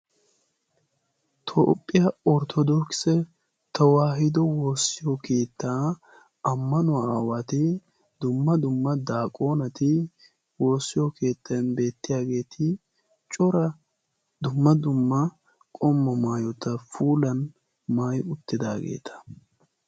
Toophiyaa Orttodookkise Tewahido Woossiyo keettaa ammanuwaa aawati, dumma dumma daaqoneti woossiyo keetten beettiyaageeti cora dumma dumma qommo maayyota puulan maayyi uttidaageeta.